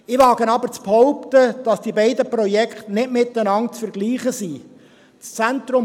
Ich wage aber zu behaupten, dass die beiden Projekte nicht miteinander vergleichbar sind.